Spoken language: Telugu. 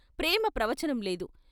ప్రేమ ప్రవచనంలేదు.